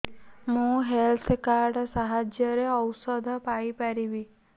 ମୁଁ health card ସାହାଯ୍ୟରେ ଔଷଧ ପାଇ ପାରିବି